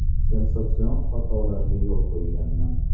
Sensatsion xatolarga yo‘l qo‘yganman.